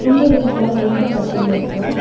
இந்த ரூம்ல ரெண்டு கட்டில் இருக்கு.